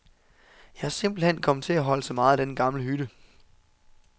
Jeg er simpelt hen kommet til at holde så meget af denne gamle hytte.